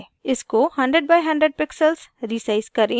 इसको 100×100 pixels resize करें